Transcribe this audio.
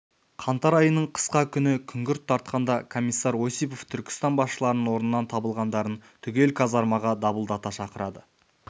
қаңтар айының қысқа күні күңгірт тартқанда комиссар осипов түркістан басшыларының орнынан табылғандарын түгел казармаға дабылдата шақырады